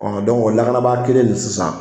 o lakanabaa kelen nin sisan.